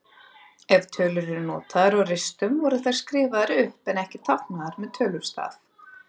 Ef tölur voru notaðar á ristum voru þær skrifaðar upp en ekki táknaðar með tölustaf.